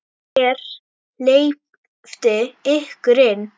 Hver hleypti ykkur inn?